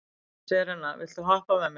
Serena, viltu hoppa með mér?